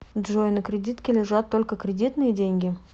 джой на кредитке лежат только кредитные деньги